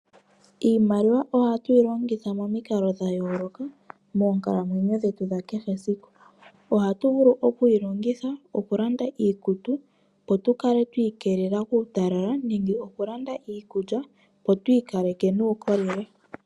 Iimaliwa oha tu yi longitha momikalo dha yooloka moonkalamwenyo dhetu dha kehe esiku. Ohatu vulu oku yi longitha oku landa iikutu, opo tu kale twiikelela kuutalala nenge okulanda iikulya opo tu ikaleke nuukolele.